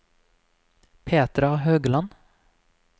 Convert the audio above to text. Petra Haugland